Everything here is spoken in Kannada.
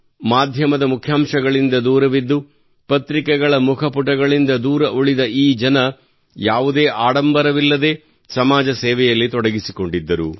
ಮಾಧ್ಯಮದ ಮುಖ್ಯಾಂಶಗಳಿಂದ ದೂರವಿದ್ದು ಪತ್ರಿಕೆಗಳ ಮುಖಪುಟಗಳಿಂದ ದೂರ ಉಳಿದ ಈ ಜನ ಯಾವುದೇ ಆಡಂಬರವಿಲ್ಲದೆ ಸಮಾಜ ಸೇವೆಯಲ್ಲಿ ತೊಡಗಿಸಿಕೊಂಡಿದ್ದರು